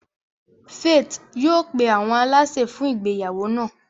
Faith yóò pe awọn àlàsè fun ìgbéyàwó náa.